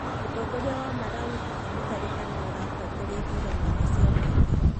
Mũtongoria wa Malawi Peter Mutharika nĩwe ũratongoria ithuranoinĩ cia mũingĩ